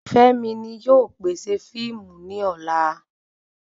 Femi ni yóò pèsè fiimu ni ola